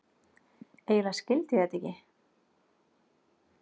Eiginlega skildi ég þetta ekki.